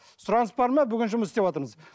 сұраныс бар ма бүгін жұмыс істеватырмыз